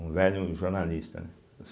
um velho jornalista, né.